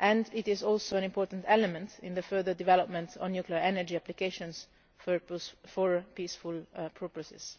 It is also an important element in the further development of nuclear energy applications for peaceful purposes.